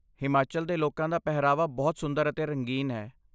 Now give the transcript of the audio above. ਹਿਮਾਚਲ ਦੇ ਲੋਕਾਂ ਦਾ ਪਹਿਰਾਵਾ ਬਹੁਤ ਸੁੰਦਰ ਅਤੇ ਰੰਗੀਨ ਹੈ।